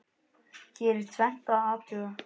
Hér er tvennt að athuga.